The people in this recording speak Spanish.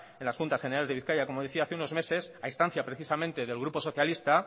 en las juntas generales de bizkaia como decía hace unos meses a instancia precisamente del grupo socialista